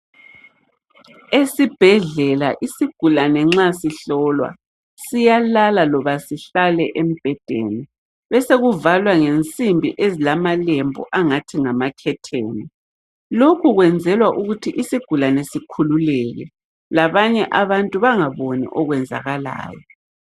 Esibhedlela isigulane nxa sihlolwa siyalala loba sihlale embhedeni besekuvalwa ngezinsimbi ezilamalembu angathi ngamakhetheni. Lokhu kwenzelwa ukuthi isigulane sikhululeke. Labanye abantu bangaboni okwenzakalayo.